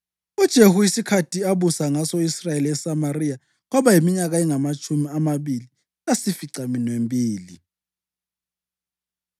UJehu isikhathi abusa ngaso u-Israyeli eseSamariya kwaba yiminyaka engamatshumi amabili lasificaminwembili.